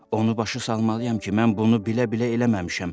Onu başa salmalıyam ki, mən bunu bilə-bilə eləməmişəm.